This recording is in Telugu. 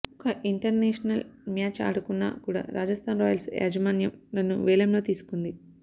ఒక్క ఇంటర్నేషనల్ మ్యాచ్ ఆడకున్నా కూడా రాజస్థాన్ రాయల్స్ యాజమాన్యం నన్ను వేలంలో తీసుకుంది